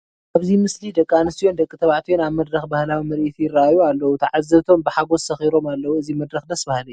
ኣብዚ ምስሊ ደቂ ኣንስትዮን ደቂ ተባዕትዮን ኣብ መድረኽ ባህላዊ ምርኢት የርእዩ ኣለዉ፡፡ ትዓዘብቶም ብሓጐስ ሰኺሮም ኣለዉ፡፡ እዚ መድረኽ ደስ በሃሊ እዩ፡፡